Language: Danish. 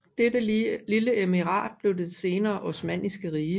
Dette lille emirat blev til det senere osmanniske rige